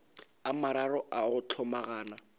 a mararo a go hlomagana